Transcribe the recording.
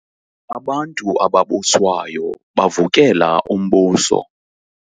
Abantu ababuswayo bavukela umbuso.